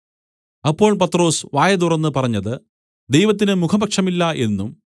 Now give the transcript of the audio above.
അപ്പോൾ പത്രൊസ് വായ് തുറന്ന് പറഞ്ഞത് ദൈവത്തിന് മുഖപക്ഷമില്ല എന്നും